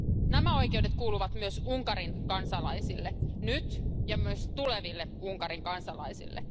Nämä oikeudet kuuluvat myös Unkarin kansalaisille, nyt ja myös tuleville Unkarin kansalaisille.